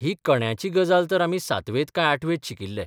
ही कण्याची गजाल तर आमी सातवेंत काय आठवेंत शिकिल्ले.